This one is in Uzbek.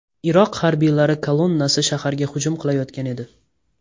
Iroq harbiylari kolonnasi shaharga hujum qilayotgan edi.